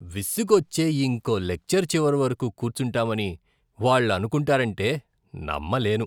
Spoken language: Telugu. విసుగొచ్చే ఇంకో లెక్చర్ చివరివరకు కూర్చుంటామని వాళ్ళు అనుకుంటారంటే నమ్మలేను.